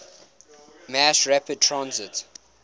mass rapid transit